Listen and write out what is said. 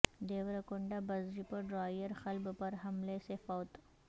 Devarakonda bus depot driver قلب پر حملے سے فوت